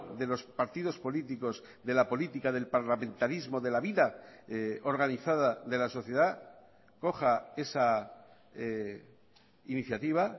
de los partidos políticos de la política del parlamentarismo de la vida organizada de la sociedad coja esa iniciativa